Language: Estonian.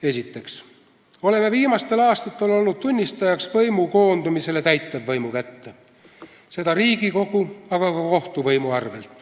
Esiteks oleme viimastel aastatel olnud tunnistajaks võimu koondumisele täitevvõimu kätte, seda Riigikogu, aga ka kohtuvõimu arvel.